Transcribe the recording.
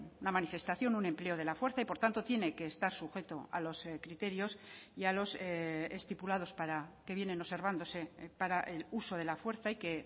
una manifestación un empleo de la fuerza y por tanto tiene que estar sujeto a los criterios y a los estipulados que vienen observándose para el uso de la fuerza y que